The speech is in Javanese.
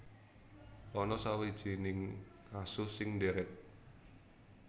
Ana sawijining asu sing ndhèrèk